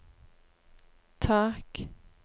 tak